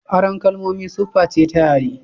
Aron kalmomi sufface ta yare.